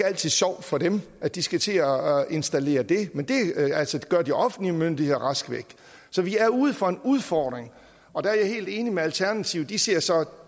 altid sjovt for dem at de skal til at installere det men det gør de offentlige myndigheder rask væk så vi er ude for en udfordring og der er jeg helt enig med alternativet de ser så